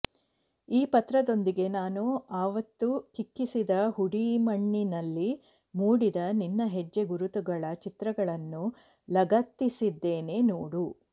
ಈ ಪತ್ರದೊಂದಿಗೆ ನಾನು ಅವತ್ತು ಕ್ಲಿಕ್ಕಿಸಿದ ಹುಡಿ ಮಣ್ಣಿನಲ್ಲಿ ಮೂಡಿದ ನಿನ್ನ ಹೆಜ್ಜೆ ಗುರುತುಗಳ ಚಿತ್ರಗಳನ್ನು ಲಗತ್ತಿಸಿದ್ದೇನೆ ನೋಡು